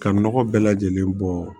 Ka nɔgɔ bɛɛ lajɛlen bɔ